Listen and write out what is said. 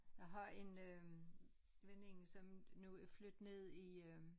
Jeg har en øh veninde som nu er flyttet ned i øh